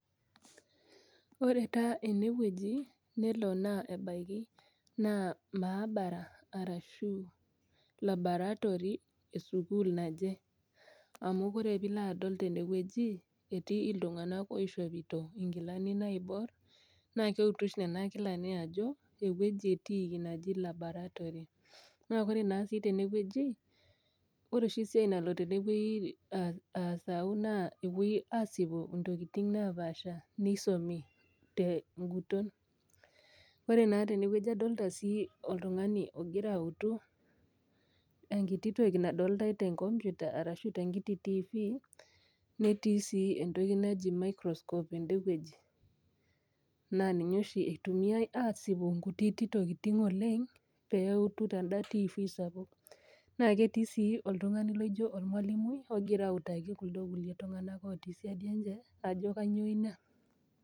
Ore taa enewueji nelo naa ebaiki naa maabara arashuu laboratory esukul naje amu kore piloadol tendewueji etii iltung'ana oishopito inkilani naiborr nakeutu oshi nena kilani ajo ewueji etiiki naji laboratory. Naa kore naa sii tenewueji ore oshi esiai nalo tenewuei aah aasau naa epuoi asipu intokitin napaasha neisomi ten'guton. Ore naa tenewueji adolita sii oltung'ani ogira autu enkiti toki nadolitai tenkomputa arashu tenkiti tiifi netii sii entoki naji microscope endewueji naaninye oshi eitumiai aasipu nkutiti tokitin oleng' peeutu teinda tiifi sapuk. Naa ketii sii oltung'ani laijo olmalimui ogira autaki kuldo kulie tung'anak otii siadi enche ajo kanyoo ina.